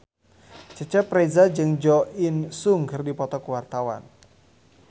Cecep Reza jeung Jo In Sung keur dipoto ku wartawan